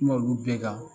Kuma olu bɛɛ kan